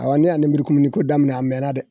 Awɔ ne y'a nemurukumuniko daminɛ a mɛnna dɛ.